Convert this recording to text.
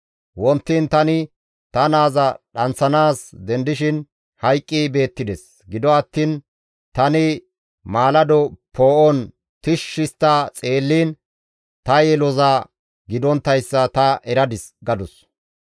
Wontiin tani ta naaza dhanththanaas dendishin hayqqi beettides; gido attiin tani maalado poo7on tishshi histta xeelliin ta yeloza gidonttayssa ta eradis» gadus.